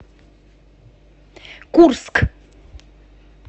курск